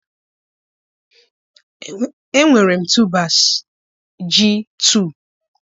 enwere m tubers ji 2